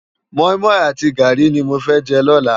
Mòimòi àti gári ni mó fè jè lòlá